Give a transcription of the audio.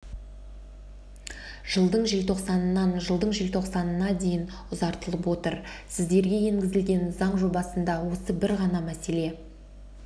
жылдың желтоқсанынан жылдың желтоқсанына дейін ұзартылып отыр сіздерге енгізілген заң жобасында осы бір ғана мәселе